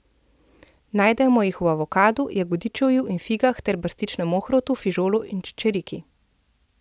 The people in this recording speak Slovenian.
Najdemo jih v avokadu, jagodičevju in figah ter brstičnem ohrovtu, fižolu in čičerki.